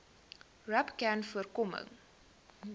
rapcanvoorkoming